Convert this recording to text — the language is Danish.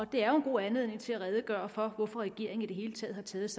det er jo en god anledning til at redegøre for hvorfor regeringen i det hele taget har taget